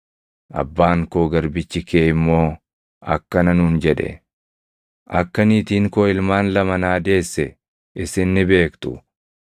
“Abbaan koo garbichi kee immoo akkana nuun jedhe; ‘Akka niitiin koo ilmaan lama naa deesse isin ni beektu.